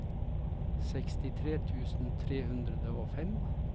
sekstitre tusen tre hundre og fem